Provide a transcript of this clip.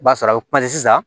I b'a sɔrɔ a bɛ sisan